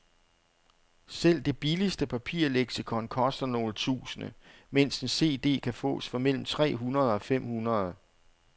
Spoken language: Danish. Selv det billigste papirleksikon koster nogle tusinde, mens en cd kan fås for mellem tre hundrede og fem hundrede.